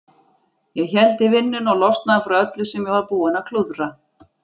Ég héldi vinnunni og losnaði frá öllu sem ég var búinn að klúðra.